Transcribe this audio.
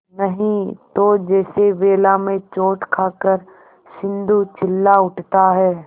नहीं तो जैसे वेला में चोट खाकर सिंधु चिल्ला उठता है